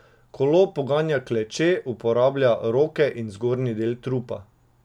Kolo poganja kleče, uporablja roke in zgornji del trupa.